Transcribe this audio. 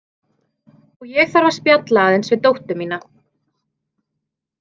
Og ég þarf að spjalla aðeins við dóttur mína.